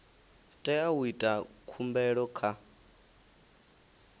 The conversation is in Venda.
tea u ita khumbelo kha